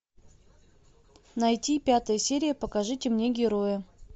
найти пятая серия покажите мне героя